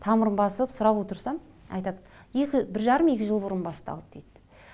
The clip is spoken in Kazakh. тамырын басып сұрап отырсам айтады бір жарым екі жыл бұрын басталды дейді